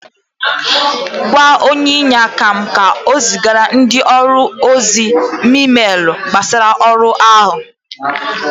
Gwa onye inyeaka m ka o zigara ndị ọrụ ozi meelu gbasara ọrụ áhụ